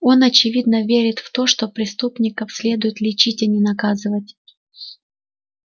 он очевидно верит в то что преступников следует лечить а не наказывать